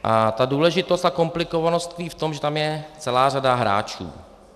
A ta důležitost a komplikovanost tkví v tom, že je tam celá řada hráčů.